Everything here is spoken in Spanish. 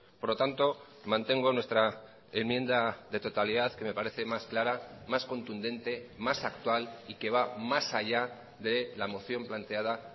por lo tanto mantengo nuestra enmienda de totalidad que me parece más clara más contundente más actual y que va más allá de la moción planteada